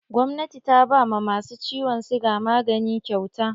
Gwamnati ta ba ma masu ciwon siga magani kyauta.